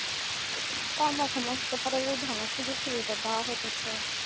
দাওয়া হইতেছে